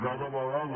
cada vegada